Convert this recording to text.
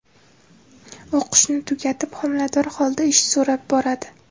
O‘qishni tugatib, homilador holida ish so‘rab boradi.